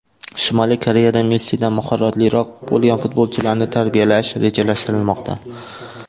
Shimoliy Koreyada Messidan mahoratliroq bo‘lgan futbolchilarni tarbiyalash rejalashtirilmoqda.